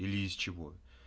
или из чего